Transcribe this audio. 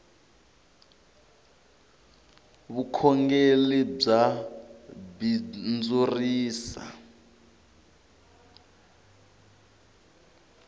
vukhongeli bya bindzurisa